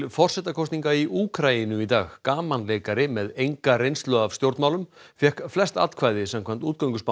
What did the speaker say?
forsetakosninga í Úkraínu í dag gamanleikari með enga reynslu af stjórnmálum fékk flest atkvæði samkvæmt